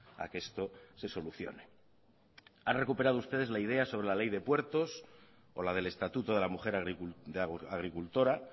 a que esto se solucione han recuperado ustedes la idea sobre la ley de puertos o la del estatuto de la mujer agricultora